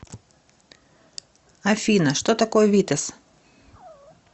афина что такое витесс